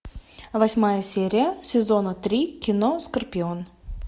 восьмая серия сезона три кино скорпион